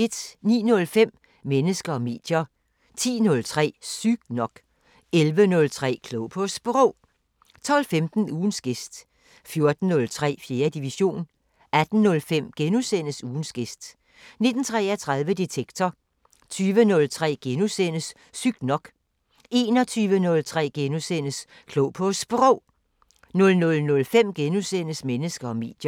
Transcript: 09:05: Mennesker og medier 10:03: Sygt nok 11:03: Klog på Sprog 12:15: Ugens gæst 14:03: 4. division 18:05: Ugens gæst * 19:33: Detektor 20:03: Sygt nok * 21:03: Klog på Sprog * 00:05: Mennesker og medier *